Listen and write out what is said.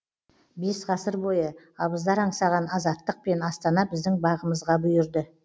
бес ғасыр бойы абыздар аңсаған азаттық пен астана біздің бағымызға бұйырды